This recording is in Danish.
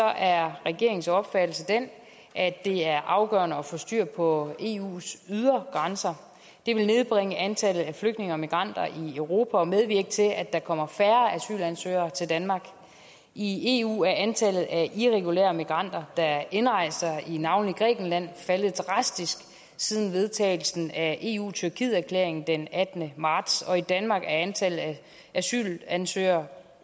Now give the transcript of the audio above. er regeringens opfattelse den at det er afgørende at få styr på eus ydre grænser det vil nedbringe antallet af flygtninge og migranter i europa og medvirke til at der kommer færre asylansøgere til danmark i eu er antallet af irregulære migranter der indrejser i navnlig grækenland faldet drastisk siden vedtagelsen af eu tyrkiet erklæringen den attende marts og i danmark er antallet af asylansøgere